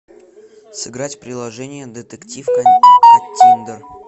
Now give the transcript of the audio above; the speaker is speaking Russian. сыграть в приложение детектив каттиндер